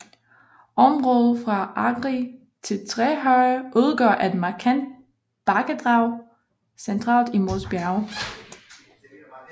Området fra Agri til Trehøje udgør et markant bakkedrag centralt i Mols Bjerge